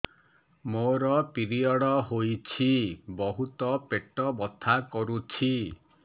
ମୋର ପିରିଅଡ଼ ହୋଇଛି ବହୁତ ପେଟ ବଥା କରୁଛି